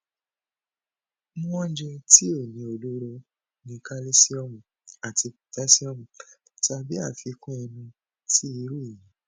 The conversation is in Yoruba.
mu ounjẹ ti o ni ọlọrọ ni kalisiomu ati potasiomu tabi afikun ẹnu ti iru eyi